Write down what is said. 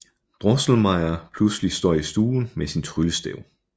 Drosselmeyer pludselig står i stuen med sin tryllestav